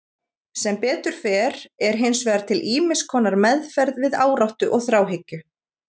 Sem betur fer er hins vegar til ýmiss konar meðferð við áráttu og þráhyggju.